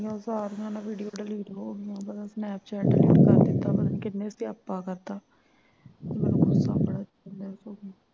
ਉਨ੍ਹਾਂ ਸਾਰਿਆਂ ਦਾ video delete ਹੋ ਗਿਆ ਓਦੋਂ ਦਾ snapchat ਦਿਤਾ ਵਾ ਕਿੰਨੇ ਸਿਆਪਾ ਕਰਤਾ